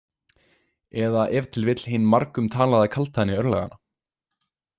Eða ef til vill hin margumtalaða kaldhæðni örlaganna?